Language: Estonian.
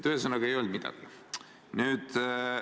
Ühesõnaga, ei öelnud midagi.